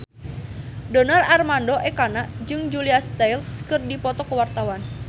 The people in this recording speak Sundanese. Donar Armando Ekana jeung Julia Stiles keur dipoto ku wartawan